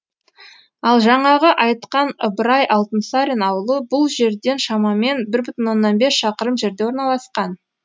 ал жаңағы айтқан ыбырай алтынсарин ауылы бұл жерден шамамен бір бүтін оннан бес шақырым жерде орналасқан